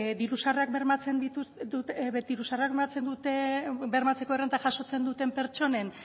diru sarrerak bermatzeko errenta jasotzen duten pertsonen